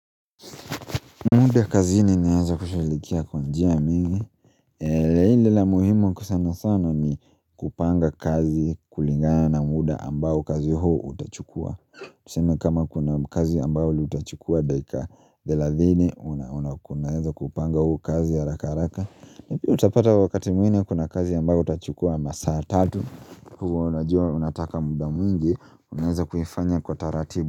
Muda kazini naeza kushugulikia kwa njia mingi la ile la muhimu kusema sana ni kupanga kazi kulingana na muda ambao kazi huo utachukua Tuseme kama kuna kazi ambao liutachukua dakika thelathini unauna kunaeza kuupanga huu kazi haraka haraka ni pia utapata wakati mwingine kuna kazi ambao utachukua ambao saa tatu kuwa unajua unataka muda mwingi unaeza kuifanya kwa taratibu.